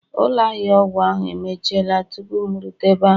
Ụlọ ahịa ọgwụ ahu emechiela tupu m erute ebe ahụ